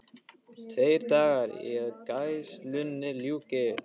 Tveir dagar í að gæslunni ljúki.